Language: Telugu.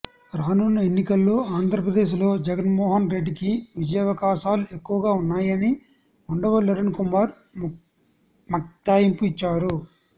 రానున్న ఎన్నికల్లో ఆంధ్రప్రదేశ్ లో జగన్మోహన్ రెడ్డికి విజయావకాశాలు ఎక్కువగా ఉన్నాయని ఉండవల్లి అరుణ్ కుమార్ మక్తాయింపు ఇచ్చారు